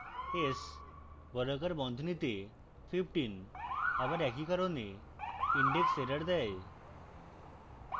s বর্গাকার বন্ধনীতে 15 আবার একই কারণে indexerror দেয়